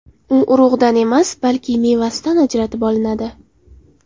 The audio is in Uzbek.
U urug‘idan emas, balki mevasidan ajratib olinadi.